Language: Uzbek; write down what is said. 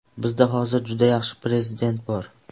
Bizda hozir juda yaxshi prezident bor.